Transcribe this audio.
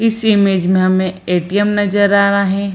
इस इमेज में हमे ए.टी.एम. नजर आ रहा है।